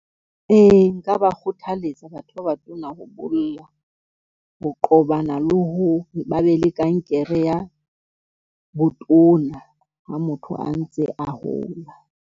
Ee, nka ba kgothaletsa ho qobana le ho ba be le kankere ya botona ha motho a ntse a hola.